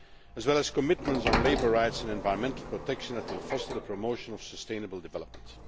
as well as commitments on labour rights and environmental protection and will foster the promotion of sustainable development.